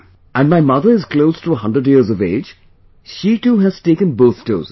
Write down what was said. And my mother is close to a hundred years of age...she too has taken both doses